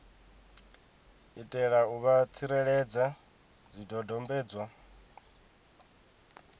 itela u vha tsireledza zwidodombedzwa